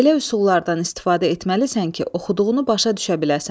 Elə üsullardan istifadə etməlisən ki, oxuduğunu başa düşə biləsən.